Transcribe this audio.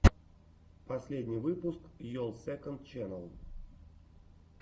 последний выпуск йолл сэконд ченнал